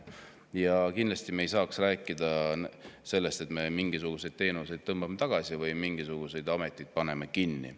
Ja kindlasti me ei tohiks rääkida sellest, et me mingisuguseid teenuseid tõmbame tagasi või mingisuguseid ameteid paneme kinni.